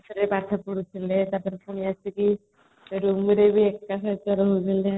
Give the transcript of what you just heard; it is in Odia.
class ରେ ପାଠ ପଢୁ ଥିଲେ ତାପରେ ପୁଣି ଆସିକି room ରେ ବି ଏକା ସହିତ ରହୁଥିଲେ